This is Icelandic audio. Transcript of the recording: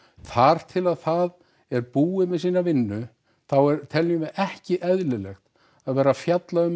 þar til það er búið með sína vinnu þá er teljum við ekki eðlilegt að vera að fjalla um